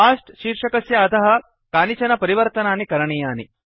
cost शीर्षकस्य अधः कानिचन परिवर्तनानि करणीयानि